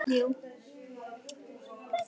Og hvað skal þetta merkja, biskup Jón?